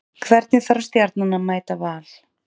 Hvernig þarf Stjarnan að mæta Val?